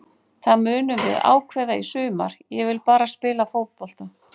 Það munum við ákveða í sumar, ég vil bara spila fótbolta.